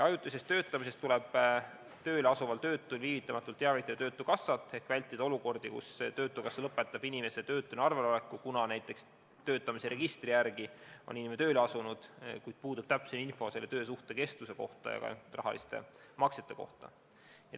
Ajutisest töötamisest tuleb tööle asuval töötul viivitamatult teavitada töötukassat, et vältida olukordi, kus töötukassa lõpetab inimese töötuna arvel oleku, kuna näiteks töötamiseregistri järgi on inimene tööle asunud, kuid puudub täpne info selle töösuhte kestuse kohta ja ka rahaliste maksete kohta.